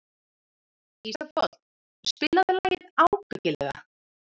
Ísafold, spilaðu lagið „Ábyggilega“.